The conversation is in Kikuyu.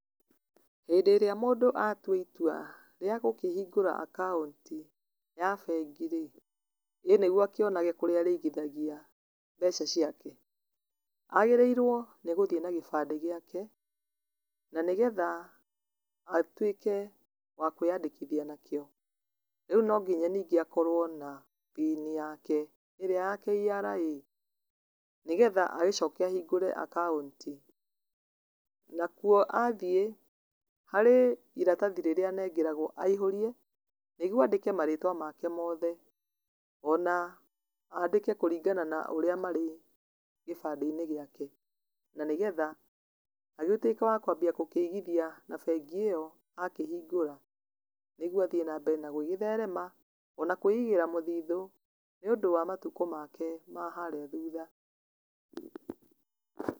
Hĩndĩ ĩrĩa mũndũ atua itua rĩa gũkĩhingũra akaũnti ya bengi rĩ ,ĩ nĩguo akĩone kũrĩa arĩithagithia mbeca ciake, agĩrĩirwe nĩgũthiĩ na kĩbande gĩake na nĩgetha atuĩke wakwĩandĩkithia nakĩo, rĩu nonginya ningĩ akorwe na pin yake ĩrĩa ya KRA, nĩgetha acoke ahingũre akaũnti nakuo athiĩ harĩ iratathi aheagwo aihũrie na nĩguo andĩke marĩtwa make mothe ona andĩke kũrĩngana na ũrĩa marĩ gĩbandeinĩ gĩake na nĩgetha agĩtuĩke wakwabia kũigithia na bengi ĩyo akĩhingũra nĩguo athii na mbere na gũgĩtherema iona kwĩigĩra mũthitho nĩũndũ wa matukũ make ma harĩa thutha.